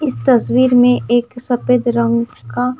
इस तस्वीर में एक सफेद रंग का--